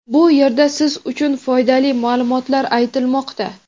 Bu yerda siz uchun foydali ma’lumotlar aytilmoqda.